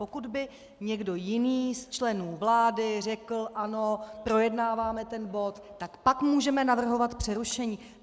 Pokud by někdo jiný z členů vlády řekl ano, projednáváme ten bod, tak pak můžeme navrhovat přerušení.